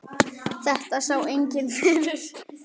Þetta sá enginn fyrir.